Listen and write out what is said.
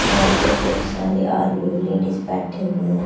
यहां पर बहुत सारे आदमी और लेडीज बैठे हुए हैं।